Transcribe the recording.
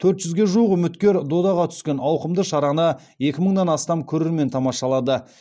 төрт жүзге жуық үміткер додаға түскен ауқымды шараны екі мыңнан астам көрермен тамашалады